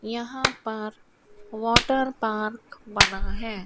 यहां पर water park बना है।